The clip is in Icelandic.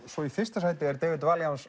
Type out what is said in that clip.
svo í fyrsta sæti er David